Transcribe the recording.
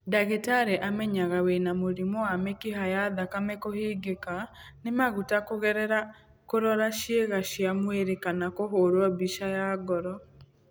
Ndagĩtarĩ amenyaga wĩna mũrimũ wa mĩkiha ya thakame kũhingĩka nĩ maguta kũgerera kũrora ciĩga cia mwĩrĩ kana kũhũrwo mbica ya ngoro.